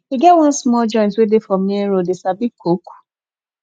e get one small joint wey dey for main road dem sabi cook